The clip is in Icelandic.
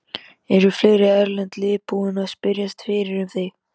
Eru fleiri erlend lið búin að spyrjast fyrir um þig?